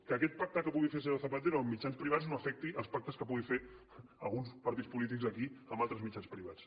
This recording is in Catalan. que aquest pacte que pugui fer el senyor zapatero amb mitjans privats no afecti els pactes que puguin fer alguns partits polítics aquí amb altres mitjans privats